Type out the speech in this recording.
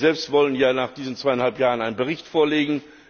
Sie selbst wollen ja nach diesen zweieinhalb Jahren einen Bericht vorlegen.